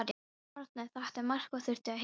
Árni þekkti marga og þurfti að heilsa þeim.